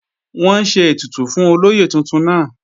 Wọ́n ń ṣe ètùtù fún olóyè tuntun náà